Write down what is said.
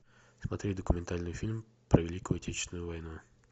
смотреть документальный фильм про великую отечественную войну